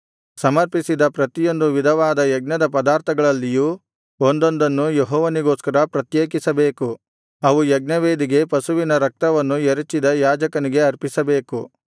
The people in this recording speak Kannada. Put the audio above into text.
ಸಮರ್ಪಿಸಿದ ಪ್ರತಿಯೊಂದು ವಿಧವಾದ ಯಜ್ಞದ ಪದಾರ್ಥಗಳಲ್ಲಿಯೂ ಒಂದೊಂದನ್ನು ಯೆಹೋವನಿಗೋಸ್ಕರ ಪ್ರತ್ಯೇಕಿಸಬೇಕು ಅವು ಯಜ್ಞವೇದಿಗೆ ಯಜ್ಞಪಶುವಿನ ರಕ್ತವನ್ನು ಎರಚಿದ ಯಾಜಕನಿಗೆ ಅರ್ಪಿಸಬೇಕು